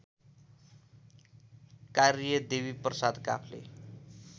कार्य देवीप्रसाद काफ्ले